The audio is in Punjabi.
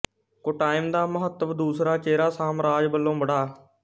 ਕੋੱਟਾਇਮ ਦਾ ਮਹੱਤਵ ਦੂਸਰਾ ਚੇਰਾ ਸਾਮਰਾਜ ਵਲੋਂ ਬਢਾ